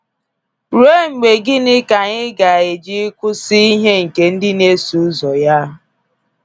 Ruo mgbe gịnị ka anyị ga eji kwụsị ihe nke ndị n'eso ụzọ ya.